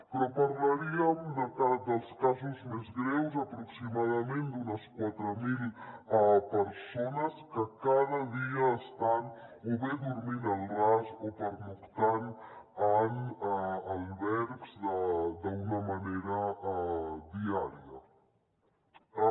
però parlaríem dels casos més greus aproximadament d’unes quatre mil persones que cada dia estan o bé dormint al ras o pernoctant en albergs diàriament